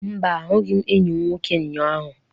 Mba, ahụghị m enyi m nwoke ụnyahụ.